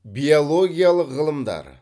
биологиялық ғылымдар